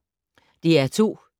DR2